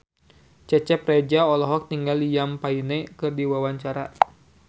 Cecep Reza olohok ningali Liam Payne keur diwawancara